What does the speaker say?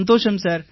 சந்தோஷம் சார்